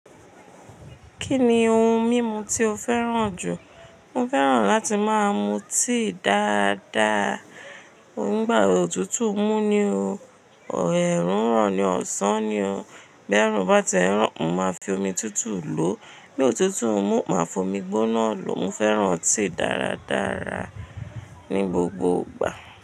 Kí ni ohun mímu tí o fẹ́ràn jù? Mo fẹ́ràn láti máa mu tíì dáadáa. Nígbà òtútù mú ni o, o ẹ̀rù ń rọ̀ ni ọ̀sán ni o. Bí ẹ̀rù bá ti ń rọ̀, mo máa fi omi tútù lò. Bí òtútù mú, máa fi omi gbóná lò. Mo fẹ́ràn tíì dáradára ní gbogbo ìgbà.